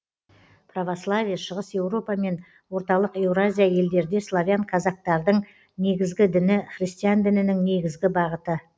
православие шығыс еуропа мен орталық еуразия елдерде славян казактардың негізгі діні христиан дінінің негізгі бағыты